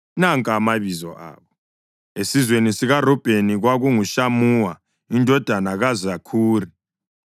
Nanka amabizo abo: esizweni sikaRubheni, kwakunguShamuwa indodana kaZakhuri;